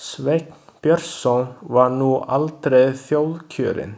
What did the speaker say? Sveinn Björnsson var nú aldrei þjóðkjörinn.